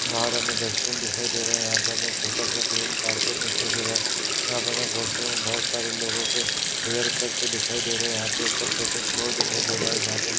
बाहर हमें डस्टबिन दिखाई दे रहा है। यहां पे हमें छोटा सा ग्रीन कार्पेट दिखाई दे रहा है। यहाँ पर हमें पोस्टर में बोहोत सारे लोगों के हेयर कट दिखाई दे रहे। यहां पे ऊपर सेकंड फ्लोर दिखाई दे रहा है जहाँ पे --